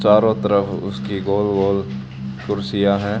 चारों तरफ उसकी गोल गोल कुर्सियां है।